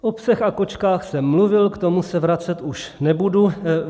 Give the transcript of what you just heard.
O psech a kočkách jsem mluvil, k tomu se vracet už nebudu.